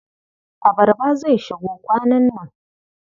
Abarba zai shigo kwanan nan.